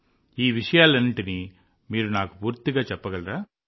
ఇలా అన్ని విషయాలను మీరు నాకు పూర్తిగా చెప్పగలరా